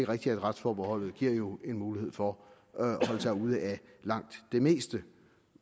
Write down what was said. rigtigt at retsforbeholdet giver en mulighed for at holde sig ude af langt det meste